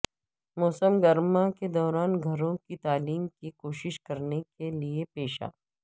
موسم گرما کے دوران گھروں کی تعلیم کی کوشش کرنے کے لئے پیشہ